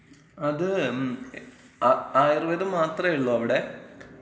അത്, മ്, ആയുർവേദം മാത്രള്ളോ അവ്ടെ?